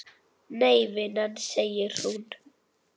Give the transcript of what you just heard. Nei vinan, segir hún.